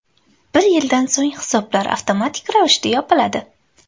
Bir yildan so‘ng hisoblar avtomatik ravishda yopiladi.